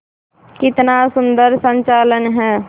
कितना सुंदर संचालन है